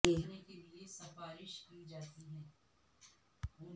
جدید پتلی پرت پلاسٹر کا ایک حل پلاسٹکیت میں ہونا چاہئے